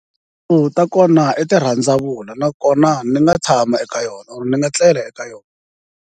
Tiyindlu ta kona i tirhandzavula nakona ni nga tshama eka yona or ni nga tlela eka yona.